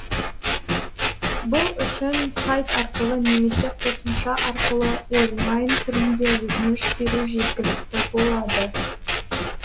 бұл үшін сайт арқылы немесе қосымша арқылы онлайн түрінде өтініш беру жеткілікті болады